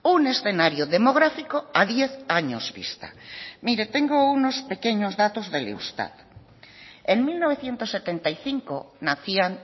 un escenario demográfico a diez años vista mire tengo unos pequeños datos del eustat en mil novecientos setenta y cinco nacían